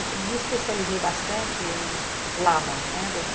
E me especializei bastante em Laban. Né